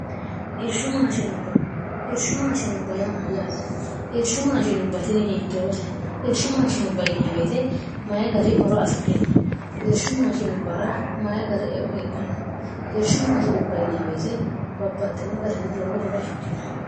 sirshu maashinu bmyyaate ishu maashinu batini hiittoote irshu maashin biwete mayi gari horo afidhino irshu maashinu bara mayi gari eo heedhanno irshu maashiu biwete babbaxxino garinni lowo horo afidhino